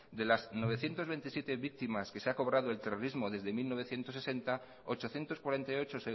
de las novecientos veintisiete víctimas que se ha cobrado el terrorismos desde mil novecientos sesenta ochocientos cuarenta y ocho